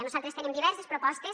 nosaltres tenim diverses propostes